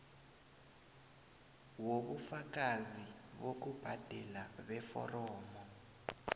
wobufakazi bokubhadela beforomo